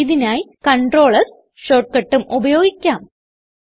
ഇതിനായി control S shortcut ഉം ഉപയോഗിക്കാം